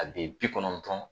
A be bi kɔnɔntɔn